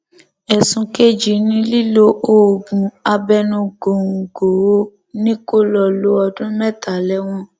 ẹsùn kejì ni lílo oògùn abẹnugòńgò ò ní kó lọọ lo ọdún mẹta lẹwọn